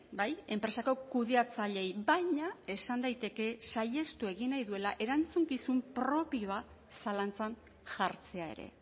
bai enpresako kudeatzaileei baina esan daiteke saihestu egin nahi duela erantzukizun propioa zalantzan jartzea ere